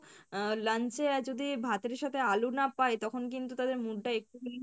আহ lunch এ যদি ভাতের সাথে আলু না পায় তখন কিন্তু তাদের mood টা একটু খানি